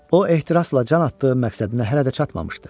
O ehtirasla can atdığı məqsədinə hələ də çatmamışdı.